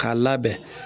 K'a labɛn